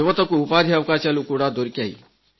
యువతకు ఉపాథి అవకాశాలు కూడా దొరికాయి